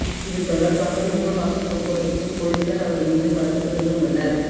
இது தொடர்பாக நுங்கம்பாக்கம் போக்குவரத்துக்கு போலீசார் அவர் மீது வழக்கு தொடர்ந்து உள்ளனர்